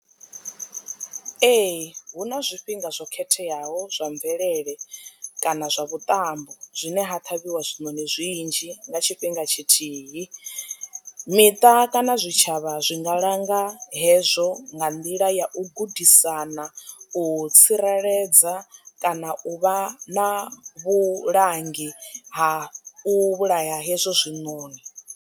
Ee, hu na zwifhinga zwo khetheaho zwa mvelele kana zwa vhuṱambo zwine ha ṱhavhiwa zwinoni zwinzhi nga tshifhinga tshithihi, miṱa kana zwitshavha zwi nga langa hezwo nga nḓila ya u gudisana u tsireledza kana u vha na vhulangi ha u vhulaya hezwo zwinoni.